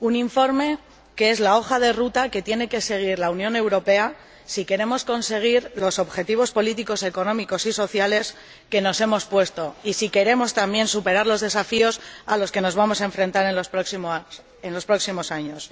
un informe que es el plan de trabajo que tiene que seguir la Unión Europea si queremos conseguir los objetivos políticos, económicos y sociales que nos hemos puesto, y si queremos, también, superar los desafíos a los que nos vamos a enfrentar en los próximos años.